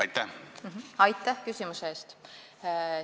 Aitäh küsimuse eest!